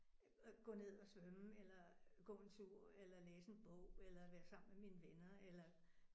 Øh gå ned og svømme eller gå en tur eller læse en bog eller være sammen med mine venner eller